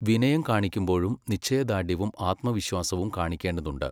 വിനയം കാണിക്കുമ്പോഴും നിശ്ചയദാർഢ്യവും ആത്മവിശ്വാസവും കാണിക്കേണ്ടതുണ്ട്.